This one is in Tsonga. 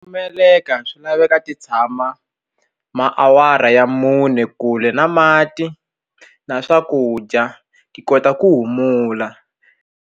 Meleka swi laveka ti tshama maawara ya mune kule na mati na swakudya ti kota ku humula.